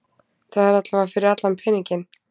Það er allavega fyrir allan peninginn.